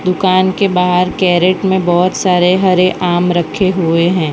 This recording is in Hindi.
दुकान के बाहर कैरेट में बहोत सारे हरे आम रखे हुए है।